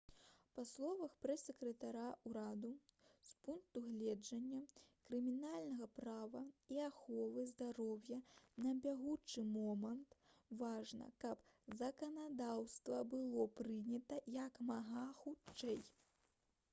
па словах прэс-сакратара ўраду «з пункту гледжання крымінальнага права і аховы здароўя на бягучы момант важна каб заканадаўства было прынята як мага хутчэй»